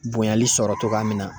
Bonyali sɔrɔ cogoya min na.